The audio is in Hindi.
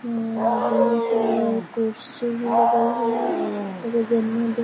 कुर्सी लगल हेय। --